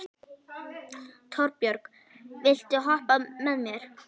Torbjörg, viltu hoppa með mér?